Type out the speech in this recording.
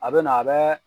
A bɛ na a bɛ